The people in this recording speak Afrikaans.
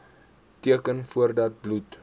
teken voordat bloed